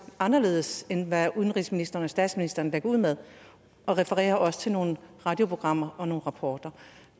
anderledes end hvad udenrigsministeren og statsministeren lægger ud med og refererer også til nogle radioprogrammer og nogle rapporter